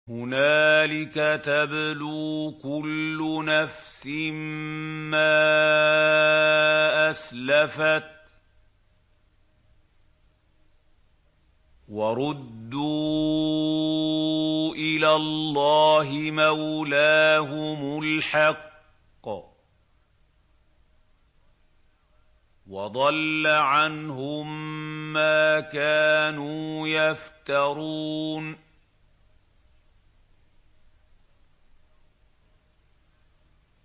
هُنَالِكَ تَبْلُو كُلُّ نَفْسٍ مَّا أَسْلَفَتْ ۚ وَرُدُّوا إِلَى اللَّهِ مَوْلَاهُمُ الْحَقِّ ۖ وَضَلَّ عَنْهُم مَّا كَانُوا يَفْتَرُونَ